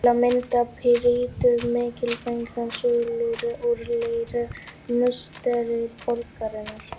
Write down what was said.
Til að mynda prýddu mikilfenglegar súlur úr leir musteri borgarinnar.